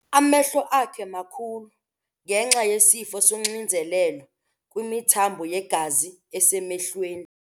Amehlo akhe makhulu ngenxa yesifo soxinzelelo kwimithambo yegazi esemehlweni.